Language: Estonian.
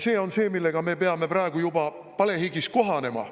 See on see, millega me peame juba praegu palehigis kohanema.